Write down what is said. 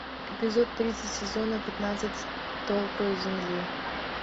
эпизод тридцать сезона пятнадцать столпы земли